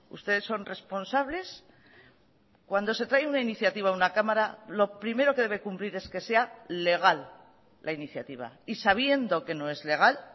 ustedes son responsables cuando se trae una iniciativa a una cámara lo primero que debe cumplir es que sea legal la iniciativa y sabiendo que no es legal